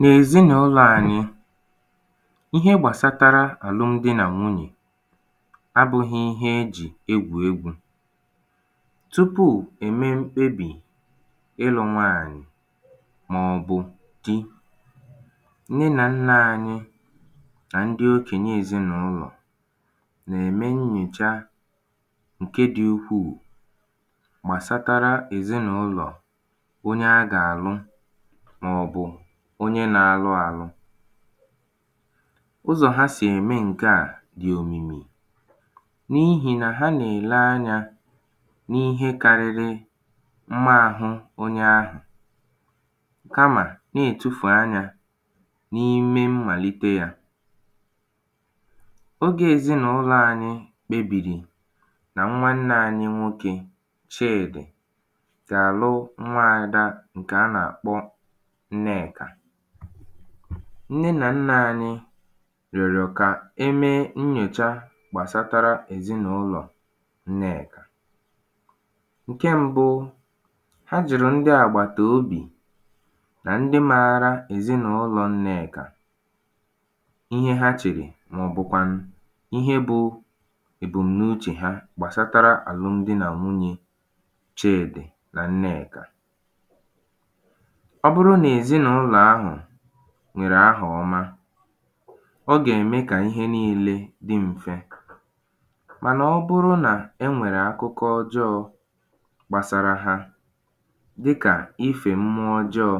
n’èzinàụlọ̄ anyị ihe gbàsatara àlụm di nà nwunyè abụ̄hī ihe e jì egwù egwū tupuù è mee mkpebì ịlụ̄ nwaànyị màọ̀bụ̀ di nne nà nnā anyị nà ndị okènye ezinàụlọ̀ nà-ème nyòcha ṅ̀ke dị̄ ukwuù gbàsatara èzinàụlọ̀ onye a gà àlụ màọ̀bụ̀ onye nā-alụ ālụ̄ ụzọ̀ ha sì ème ṅ̀ke à dị̀ òmìmi n’ihì nà ha nà-èle anyā n’ihe kārị̄rị̄ mma āhụ̄ onye ahụ̀ kamà na-ètufù anyā n’ime mmàlite yā ogē ezinàụlọ̄ ānyị̄ kpebìrì nà nwanne ānyị̄ nwokē Chịdị̀ gà-àlụ nwaādā ṅ̀kè a nà-àkpọ Nnekà nne nà nnà anyị rị̀ọ̀rọ̀ ka emee nnyòcha gbàsatara ezinàụlọ̀ Nnekà ṅ̀ke mbụ̄ ha jụ̀rụ̀ ndị àgbàtà obì nà ndị maara ezinàụlọ̀ Ǹnekà ihe ha chèrè màọ̀bụ̀kwànụ̀ ihe bụ̄ èbùm̀nuchè ha gbasaatara àlụm di nà nwunyē Chịdị nà Nneèkà ọ bụrụ nà èzinàụlọ̀ ahụ nwèrè ahà ọma ọ gà-ème kà ihe niilē dị mfe mànà ọ bụrụ nà e nwèrè akụkọ ọjọọ̄ gbasara ha dịkà ifè mṃuọ ọjọọ̄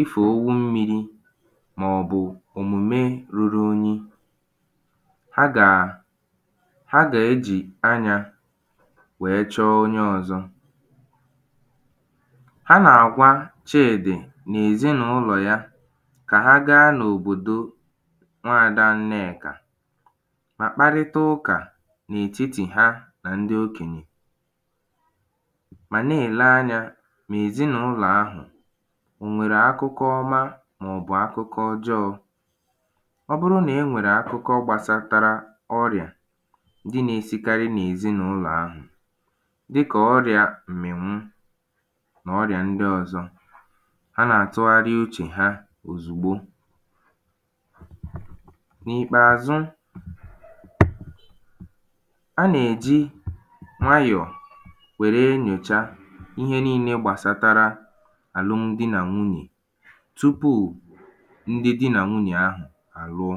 ifè owu mmīrī màọ̀bụ̀ òmùme ruru unyi ha gà ha gà ejì anyā wèe chọọ onye ọ̄zọ̄ ha nà-àgwa Chịị̀dị nà èzinàụlọ̀ ya kà ha gaa n’òbòdo nwadā Nneèkà mà kparịtụ ụkà n’ètitì ha nà ndị okènyè mà na-èle anyā mà èzinàụlọ̀ ahụ̀ o nwèrè akụkọ ọma màọ̀bụ̀ akụkọ ọjọọ̄ ọ bụrụ nà e nwèrè akụkọ gbasatara ọrịà ndị na-esikarị nà èzinàụlọ̀ ahù̩̣ dịkà ọrịā m̀mị̀nwụ nà ọrịà ndị ọzọ ha nà-àtụgharị uchè ha òzùgbo indistinct sound n’ìkpèàzụ indistinct sound a nà-èji nwayọ̀ wère nyòcha ihe niilē gbàsatara àlụm di nà nwunyè tupuù ndị di nà nwunyè ahụ̀ àlụọ